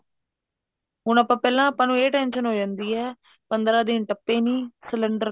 ਹੁਣ ਪਹਿਲਾਂ ਆਪਾਂ ਨੂੰ ਇਹ tension ਹੋ ਜਾ ਜਾਂਦੀ ਹੈ ਪੰਦਰਾਂ ਦਿਨ ਟੱਪੇ ਨੀ cylinder